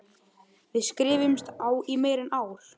Við skrifuðumst á í meira en ár.